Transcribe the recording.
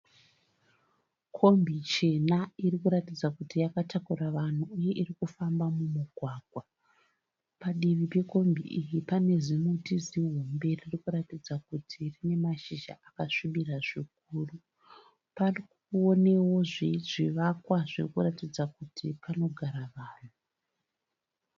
Kombi chena iri kuratidza kuti yakatakura vanhu uye iri kufamba mumugwagwa. Padivi pekombi iyi pane zimuti zihombe riri kuratidza kuti rine mashizha akasvibira zvikuru. Pari kuonewo zvivakwa zviri kuratidza kuti panogara vanhu.